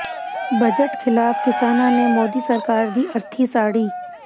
budget ਿਖ਼ਲਾਫ਼ ਕਿਸਾਨਾਂ ਨੇ ਮੋਦੀ ਸਰਕਾਰ ਦੀ ਅਰਥੀ ਸਾੜੀ